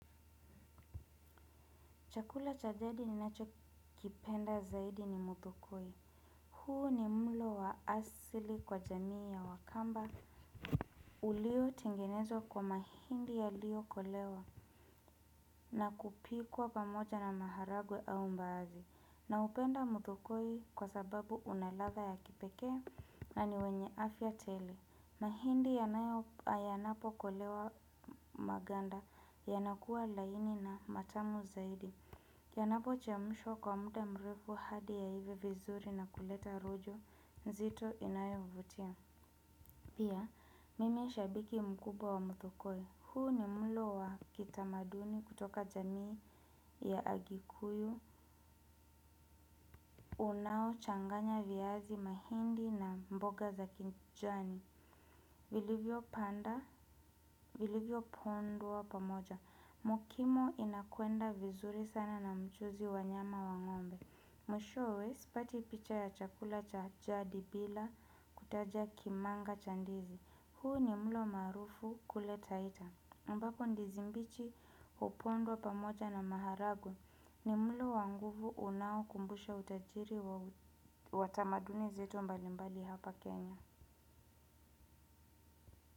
Chakula cha jadi ninachokipenda zaidi ni muthukoi. Huu ni mlo wa asili kwa jamii ya wakamba. Uliotengenezwa kwa mahindi yaliyokolewa na kupikwa pamoja na maharagwe au mbaazi. Naupenda muthokoi kwa sababu una ladha ya kipekee na ni wenye afya tele. Mahindi yanapokolewa maganda yanakuwa laini na matamu zaidi. Kianapo chemshwa kwa muda mrefu hadi yaive vizuri na kuleta rojo, nzito inayovutia. Pia, mimi ni shabiki mkubwa wa muthokoi. Huu ni mlo wa kitamaduni kutoka jamii ya agikuyu, unaochanganya viazi mahindi na mboga za kijani. Vilivyopanda, vilivyo pondwa pamoja. Mokimo inakwenda vizuri sana na mchuzi wa nyama wa ngombe. Mwishowe, sipati picha ya chakula cha jadi bila kutaja kimanga cha ndizi. Huu ni mlo maarufu kule taita. Ambapo ndizi mbichi hupondwa pamoja na maharagwe. Ni mlo wa nguvu unaokumbusha utajiri wa tamaduni zetu mbalimbali hapa Kenya.